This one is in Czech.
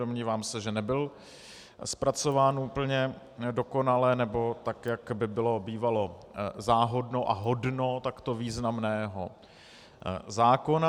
Domnívám se, že nebyl zpracován úplně dokonale, nebo tak, jak by bylo bývalo záhodno a hodno takto významného zákona.